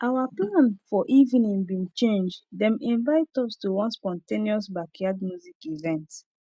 our plan for evening bin change them invite us to one spontaneous backyard music event